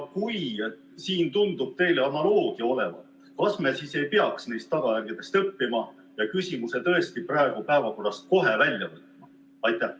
Kuna siin tundub analoogia olevat, siis kas me ei peaks neist tagajärgedest õppima ja küsimuse tõesti praegu päevakorrast kohe välja võtma?